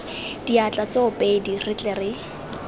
diatla tsoopedi re tle re